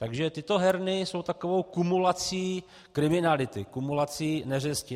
Takže tyto herny jsou takovou kumulací kriminality, kumulací neřesti.